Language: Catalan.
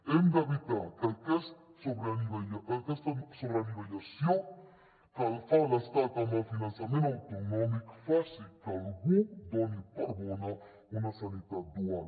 hem d’evitar que aquesta sobreanivellació que fa l’estat amb el finançament autonòmic faci que algú doni per bona una sanitat dual